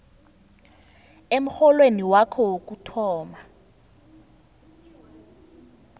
emrholweni wakho wokuthoma